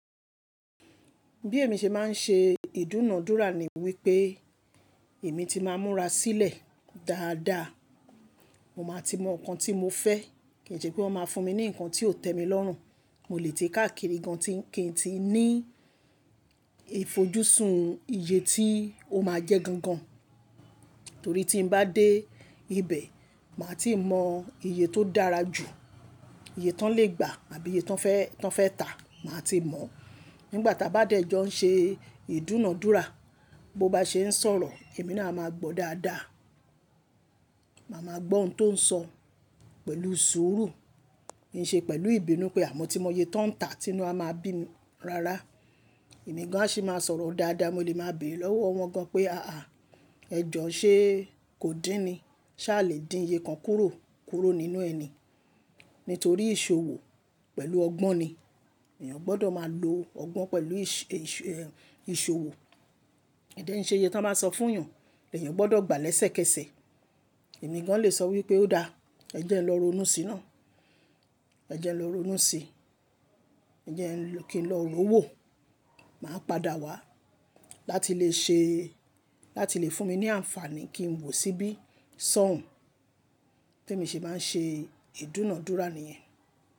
Bí èmi ṣe máa ń ṣe ìdúnàádúrà ni wípé èmi ti máa ń múra sílẹ̀ dáadáa. Mo máa ti mọ nǹkan tí mo fẹ́ kì í ṣe pé wọ́n máa fún mi ní ǹkan tí ò tẹ́ mi lọ́rùn. Mo lè tí káàkiri gan kin ti ní ìfojúsùn iye tí ó máa jẹ́ gangan. Torí tí n bá dé ibẹ̀, màá ti mọ iye tó dára jù, iye tán lè gbà àbí iye tan fe tán fẹ́ tà, màá ti mọ̀. Nígbà táa bá dẹ̀ njọ ṣe ìdúnàádúrà, bó bá ṣe ń sọ̀rọ̀, èmi náà máa gbọ́ dáadáa. Màá máa gbọ́ ohun tó ń sọ pẹ̀lú sùúrù, ki í ṣe pẹ̀lú ìbínú pé à mọ́ tí mo iyé tán tà tí nu a máa bíi mi rárá. Ẹ̀mi gan an a ṣi máa sọ̀rọ̀ dáadáa, mo lè máa béèrè lọ́wọ́ wọn gan pé àá ẹjọ́ ṣé kò dín ni? Ṣá alè dín iye kan kúrò nínú ẹ ni? Nítorí ìṣòwò pẹ̀lú ọgbọ́n ni. Èèyàn gbọ́dọ̀ máa lo ọgbọ́n pẹ̀lú ìṣòwò. Ko dẹ̀ n ṣe iye to n bá sọ fún èèyàn, èèyàn gbọ́dọ̀ gbà lẹ́sẹ̀kẹsẹ̀. Ẹ̀mi gan an lè sọ wípé ó dáa, ẹ jẹ́ ẹ lọ ronú sí i náà, ẹ jẹ́ ẹ lọ ronú sí i, ẹ jẹ́ ẹ kí n lọ ró wó, màá padà wá láti lè ṣe láti lè fún mi ní àǹfààní kí n wò síbí sọ́ ọ̀ún bèmi ṣe máa ń ṣe ìdúnàádúrà níyẹn.